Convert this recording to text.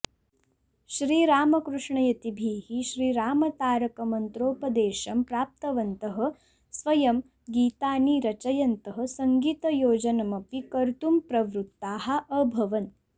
श्रीरामकृष्णयतिभिः श्रीरामतारक मन्त्रोपदेशं प्राप्तवन्तः स्वयं गीतानि रचयन्तः सङ्गीतयोजनमपि कर्तुं प्रवृत्ताः अभवन्